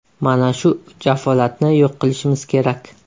Mana shu jafolatni yo‘q qilishimiz kerak.